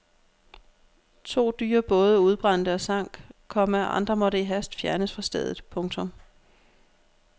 To dyre både udbrændte og sank, komma andre måtte i hast fjernes fra stedet. punktum